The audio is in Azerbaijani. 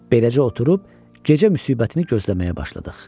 Beləcə oturub gecə müsibətini gözləməyə başladıq.